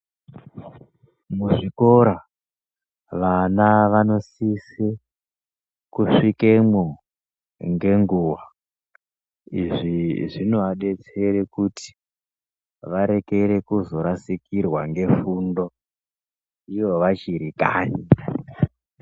Muzvikora vana vanosise kusvikemwo ngenguwa. Izvi zvinoabetsere kuti varekere kuzorasikirwa ngefundo ivo vachiri kanyi.